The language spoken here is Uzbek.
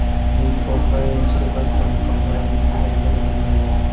Men kombaynchi emasman, kombaynning aybini bilmayman.